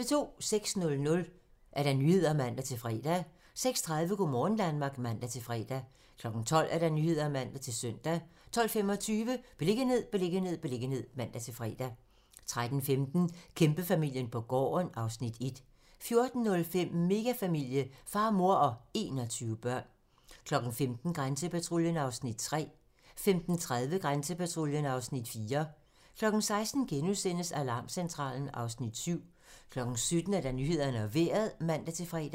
06:00: Nyhederne (man-fre) 06:30: Go' morgen Danmark (man-fre) 12:00: Nyhederne (man-søn) 12:25: Beliggenhed, beliggenhed, beliggenhed (man-fre) 13:15: Kæmpefamilien på gården (Afs. 1) 14:05: Megafamilie - far, mor og 21 børn 15:00: Grænsepatruljen (Afs. 3) 15:30: Grænsepatruljen (Afs. 4) 16:00: Alarmcentralen (Afs. 7)* 17:00: Nyhederne og Vejret (man-fre)